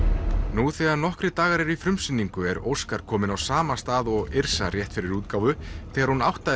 nú þegar nokkrir dagar eru í frumsýningu er Óskar kominn á sama stað og Yrsa rétt fyrir útgáfu þegar hún áttaði